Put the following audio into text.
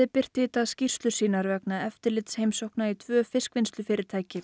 birti í dag skýrslur sínar vegna eftirlitsheimsókna í tvö fiskvinnslufyrirtæki